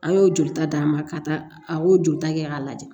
A y'o jolita d'a ma ka taa a y'o jolita kɛ k'a lajɛ